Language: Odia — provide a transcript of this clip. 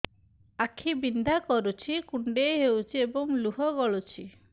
ଆଖି ବିନ୍ଧା କରୁଛି କୁଣ୍ଡେଇ ହେଉଛି ଏବଂ ଲୁହ ଗଳୁଛି